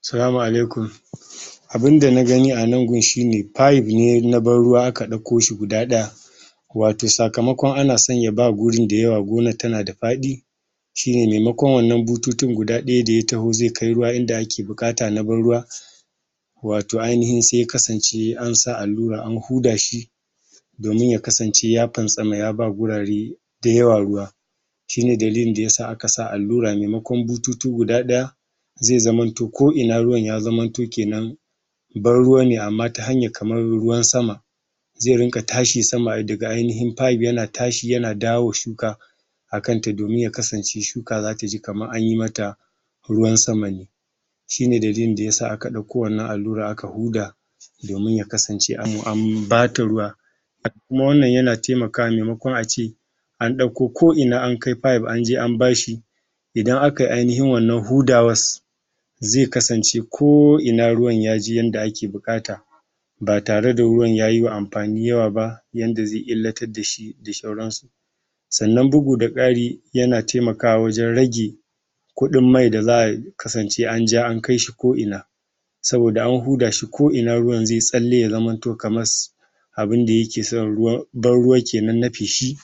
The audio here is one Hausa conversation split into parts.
Salama alaikum um abinda na gani a nan gun shi ne five ne na barruwa aka har aka ɗauko shi guda ɗaya wato sakamakon ana ya ba guri da yawa gonar tana da faɗi shi ne maimakon wannan bututun guda ɗaya da ya taho ze kai ruwa inda ake buƙata na barruwa wato ainahin se ya kasance an sa allura an huda shi domin ya kasance ya fantsama ya ba gurare da yawa ruwa shi ne dalilin da ya sa aka sa allura mamakon bututu guda ɗaya ze zamanto ko ina ruwan ya zamanto kenan barruwa ne amma ta hayar kamar ruwan sama ze riƙa tashi sama daga ainahin five yana tashi yana dawowa shuka akan ta domin ya kasance shuka zata ji kamar anyi mata ruwan sama ne shi ne dalilin da ya sa aka ɗauko wannan allura aka huda domin ya kasance am am bata ruwa kuma wannan yana taimakawa memakon ace an ɗauko ko ina an kai five an je an ba shi idan akai ainahin wannan hudawas ze kasance ko ina ruwa ya je yadda ake buƙata ba tare da ruwan ya yi wa amfani yawa ba yanda ze illatar da shi da shauransu sannan bugu da ƙari yana taimakawa wajen rage kuɗin mai da za a kasance an ja an kai shi ko ina saboda ana huda shi ko ina ruwan zai tsalle ya zamanto kamas abinda yake son ruwa barruwan kenan na feshi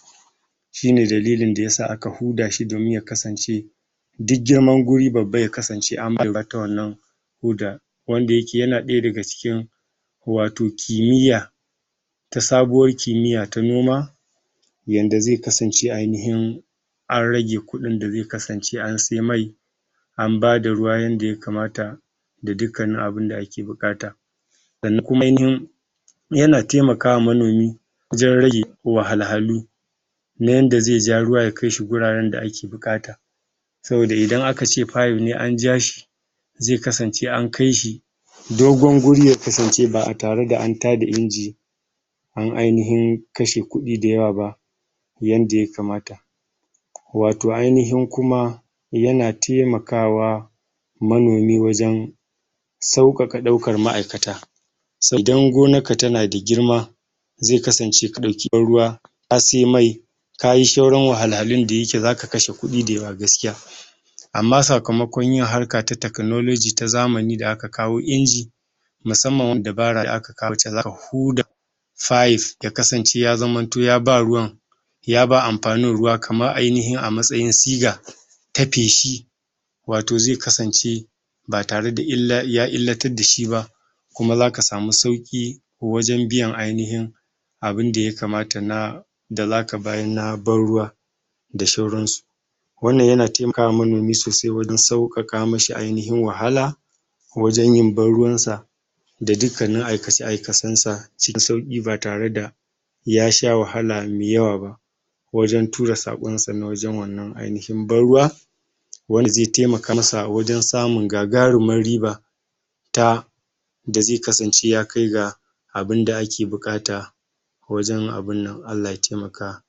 shi ne dalilin da ya sa aka huda shi da domin ya kasance dig girman guri babba ya kasance an mallaka wannan hudar wanda yake yana ɗaya daga cikin wato kimiyya ta sabuwar kimiyya ta noma yanda ze kasance ainahin ar rage kuɗin da ze kasance an se mai an bada ruwa yanda ya kamata da dukkanin abinda ake buƙata da kuma ainahin yana taimakawa manomi wajen rage wahalhalu na yanda ze ja ruwa ya kai shi guraren da ake buƙata saboda idana ka ce five ne an ja shi ze kasance an kai shi dogon guri ya kasance ba tare da an tada Inji an ainahin kashe kuɗi da yawa ba yanda ya kamata wato ainahin kuma yana taimakawa manomi wajen sauƙaƙa ɗaukar ma'aikata se idan gonarka tana da girma ze kasance ka ɗauki ruwa ka se mai ka yi shauran wahalhalu da yake zaka kashe kuɗi amma sakamakon yin harka ta techology ta zamani da aka kawo Inji musamman wanda ba rai aka kawota zaka huda five ya kasance ya zamanto ya ba ruwan ya ba amfanin ruwa kaman ainahin a matsayin siga ta feshi wato ze kasance ba tare da illa ya illatad da shi ba kuma zaka samu sauƙi wajen biyan ainahin abinda ya kamata na da zaka bayar na barruwa da shauransu wannan yana taimakawa manoni sosai wajen sauƙaƙa mishi ainahin wahala wajen yin barruwansa da dukkanin aikace-aikacensa sui sauƙi ba tare da ya sha wahala me yawa ba wajen tura saƙonsa na wajen wannan ainahin barruwa wani ze taimaka masa wajen samun gagarumar riba ta da ze kasance ya kai ga abinda ake buƙata wajen abin nan Allah ya taimaka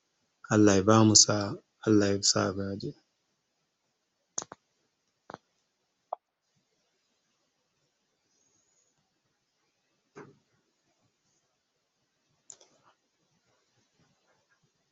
Allah ya bamu sa'a Allah ya sa